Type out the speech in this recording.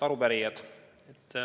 Head arupärijad!